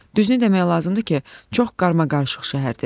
Düzünü demək lazımdır ki, çox qarmaqarışıq şəhərdir.